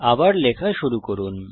আবার লেখা শুরু করুন